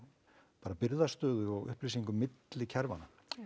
bara birgðastöðu og upplýsingum milli kerfanna